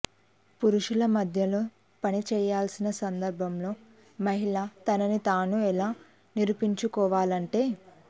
పురుషుల మధ్యలో పని చేయాల్సిన సందర్భంలో మహిళ తనని తాను ఎలా నిరూపించుకోవాలంటే